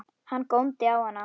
Hann góndi á hana.